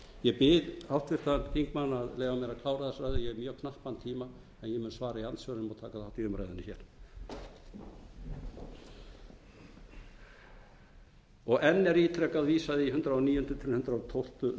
ég bið háttvirtan þingmann að leyfa mér að klára þessa ræðu ég hef mjög knappan tíma og ég mun svara í andsvörum og taka þátt í umræðunni hér enn er ítrekað vísað í hundrað og níunda til hundrað og tólf um sönnunarfærslu